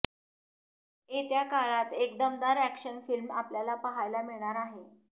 येत्या काळात एक दमदार अॅक्शन फिल्म आपल्याला पाहायला मिळणार आहे